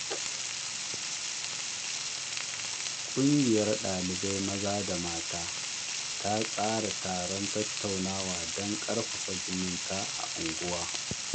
Ƙungiyar ɗalibai maza da mata ta tsara taron tattaunawa don ƙarfafa zumunci a unguwa.